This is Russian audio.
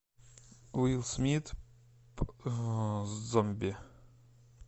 уилл смит зомби